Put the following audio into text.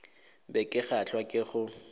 be ke kgahlwa ke go